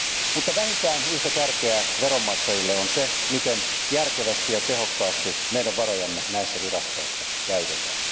Mutta vähintään yhtä tärkeää veronmaksajille on se, miten järkevästi ja tehokkaasti meidän varojamme näissä virastoissa käytetään.